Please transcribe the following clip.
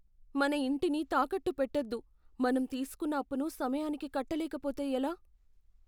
మన ఇంటిని తాకట్టు పెట్టొద్దు. మనం తీసుకున్న అప్పును సమయానికి కట్టలేకపోతే ఎలా?